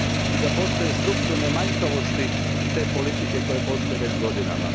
i da postoje strukturne manjkavosti te politike koja postoji već godinama.